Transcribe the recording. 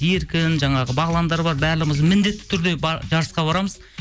еркін жаңағы бағландар бар барлығымыз міндетті түрде жарысқа барамыз